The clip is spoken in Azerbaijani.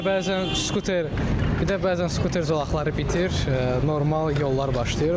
Bir də bəzən skuter, bir də bəzən skuter zolaqları bitir, normal yollar başlayır.